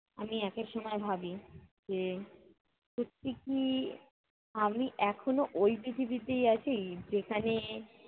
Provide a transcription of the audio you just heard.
আমি একেক সময় ভাবি যে, সত্যি কি আমি এখনও ঐ পৃথিবীতেই আছি! যেখানে